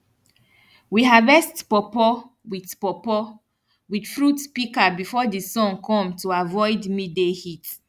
we harvest pawpaw with pawpaw with fruit pika before di sun kom to avoid midday heat